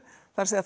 það er